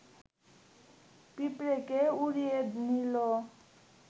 পিঁপড়েকে উড়িয়ে নিল